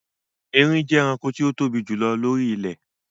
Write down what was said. Erin jẹ́ ẹranko tí o tóbi jù lọ lóri ilẹ̀